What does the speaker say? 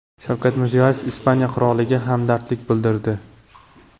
Shavkat Mirziyoyev Ispaniya qiroliga hamdardlik bildirdi.